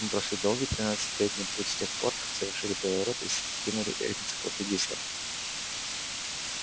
мы прошли долгий тридцатилетний путь с тех пор как совершили переворот и скинули энциклопедистов